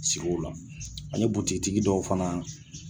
Sigi o la ani butigitigi dɔw fana